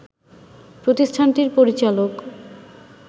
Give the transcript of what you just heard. প্রতিষ্ঠানটির পরিচালক